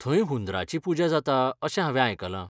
थंय हुंदरांची पुजा जाता अशें हांवें आयकलां!